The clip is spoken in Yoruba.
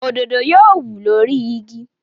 Òdòdó yóò wù lórí igi.